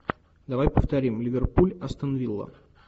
давай повторим ливерпуль астон вилла